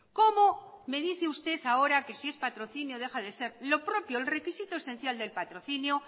como me dice usted ahora que si es patrocinio deja de ser lo propio el requisito esencial del patrocinio